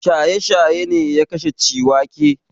Shaye-shaye ne ya kashe Ciwake.